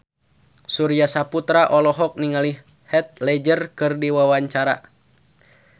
Surya Saputra olohok ningali Heath Ledger keur diwawancara